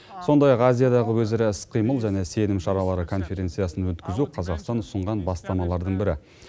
сондай ақ азиядағы өзара іс қимыл және сенім шаралары конференциясын өткізу қазақстан ұсынған бастамалардың бірі